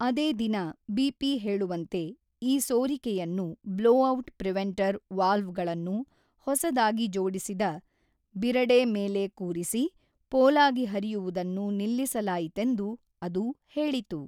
ಅದೇ ದಿನ ಬಿಪಿ ಹೇಳುವಂತೆ ಈ ಸೋರಿಕೆಯನ್ನು ಬ್ಲೊಔಟ್ ಪ್ರಿವೆಂಟರ್ ವಾಲ್ವಗಳನ್ನು ಹೊಸದಾಗಿ ಜೋಡಿಸಿದ ಬಿರಡೆ ಮೇಲೆ ಕೂರಿಸಿ ಪೋಲಾಗಿ ಹರಿಯುವುದನ್ನು ನಿಲ್ಲಿಸಲಾಯಿತೆಂದು ಅದು ಹೇಳಿತು.